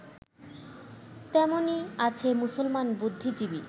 তেমনই আছে মুসলমান বুদ্ধিজীবী